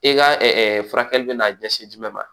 I ka furakɛli bɛna ɲɛsin jumɛn ma